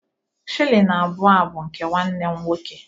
Shilling abụọ a bụ nke nwanne m nwoke